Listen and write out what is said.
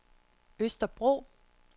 Østerbro